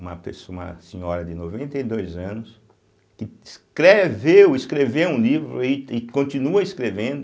Uma pesso, uma senhora de noventa e dois anos, que escreveu, escreveu um livro e continua escrevendo,